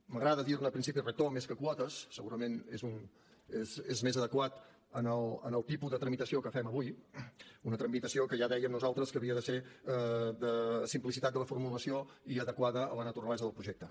m’agrada dir ne principi rector més que quotes segurament és més adequat en el tipus de tramitació que fem avui una tramitació que ja dèiem nosaltres que havia de ser de simplicitat de la formulació i adequada a la naturalesa del projecte